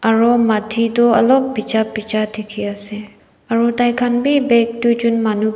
aru matti tu alop bhija bhija dekhi ase aru tai khan bhi bag duijon manu.